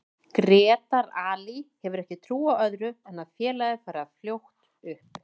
Grétar Ali hefur ekki trú á öðru en að félagið fari fljótt upp.